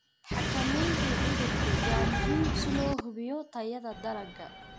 Xakamaynta cudurku waa muhiim si loo hubiyo tayada dalagga.